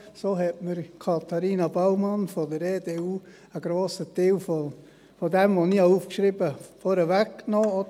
So hat Katharina Baumann von der EDU einen grossen Teil von dem, was ich mir aufgeschrieben habe, vorweggenommen.